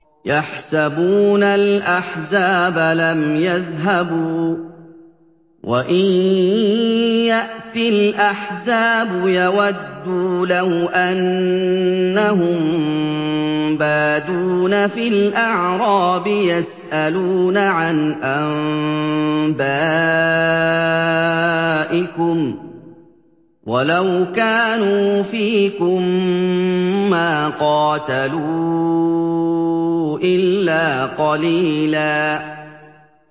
يَحْسَبُونَ الْأَحْزَابَ لَمْ يَذْهَبُوا ۖ وَإِن يَأْتِ الْأَحْزَابُ يَوَدُّوا لَوْ أَنَّهُم بَادُونَ فِي الْأَعْرَابِ يَسْأَلُونَ عَنْ أَنبَائِكُمْ ۖ وَلَوْ كَانُوا فِيكُم مَّا قَاتَلُوا إِلَّا قَلِيلًا